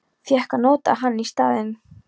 Fékk að nota hann í staðinn.